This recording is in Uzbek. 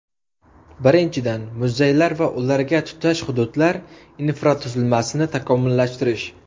Birinchidan , muzeylar va ularga tutash hududlar infratuzilmasini takomillashtirish.